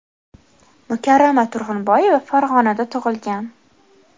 Mukarrama Turg‘unboyeva Farg‘onada tug‘ilgan.